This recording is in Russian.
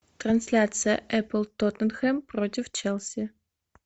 трансляция апл тоттенхэм против челси